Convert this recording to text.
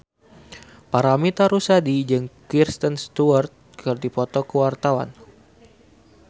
Paramitha Rusady jeung Kristen Stewart keur dipoto ku wartawan